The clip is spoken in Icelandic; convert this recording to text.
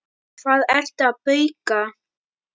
Hvað ertu að bauka?